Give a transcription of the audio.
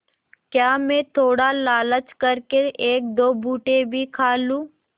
क्या मैं थोड़ा लालच कर के एकदो भुट्टे भी खा लूँ